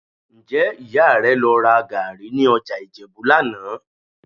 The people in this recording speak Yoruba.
Ǹjẹ́ Ìyá rẹ lọ ra gàárì ní ọjà Ìjẹ̀bú lánàá?